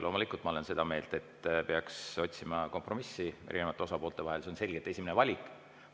Loomulikult olen ma seda meelt, et peaks otsima kompromissi erinevate osapoolte vahel, see on selgelt esimene valik.